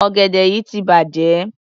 Ọ̀gẹ̀dẹ̀ yí ti bàjẹ́.